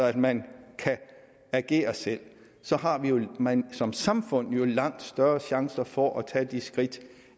at man kan agere selv så har man som samfund langt større chancer for at tage skridt